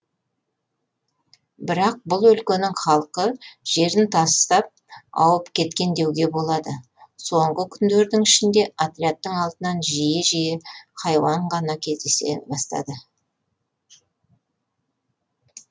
бірақ бұл өлкенің халқы жерін тастап ауып кеткен деуге болады соңғы күндердің ішінде отрядтың алдынан жиі жиі хайуан кездесе бастады